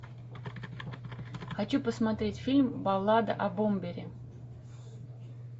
хочу посмотреть фильм баллада о бомбере